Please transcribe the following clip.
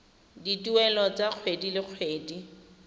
dituelo tsa kgwedi le kgwedi